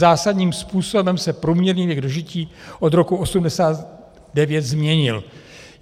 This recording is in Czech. Zásadním způsobem se průměrný věk dožití od roku 1989 změnil.